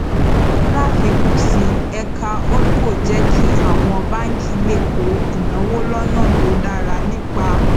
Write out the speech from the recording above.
láfikún sí i ẹka holdco jẹ kí àwọn báńkì lè kó ìnáwó lọnà tó dára nípa